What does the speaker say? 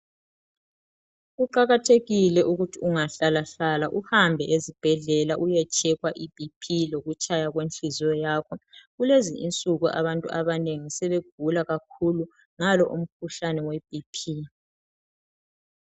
Kuqakathekile ukuthi ungahlalahlala uhambe ezibhedlela uye tshekhwa i Bp lokutshaya kwenhliziyo yakho , kulezi nsuku abantu abanengi sebegula kakhulu ngalo mkhuhlane we BP.